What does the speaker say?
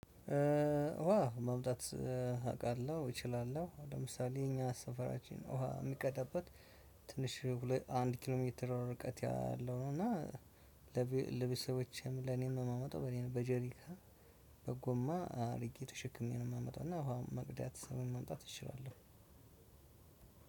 ውሃ ማምጣት አውቃለሁ እችላለሁ። ለምሳሌ እኛ ሰፈራችን ውሃ የሚቀዳበት ትንሽ ሁለት አንድ ኪሎ ሜትር ርቀት ያለው ነው። እና ለቤተሰቦቼም ለኔም የማመጣው በኔ በጀሪካን በጎማ አድርጌ ተሸክሜ ነው የማመጣው እና ውሃ መቅዳት ወይም ማምጣት እችላለሁ።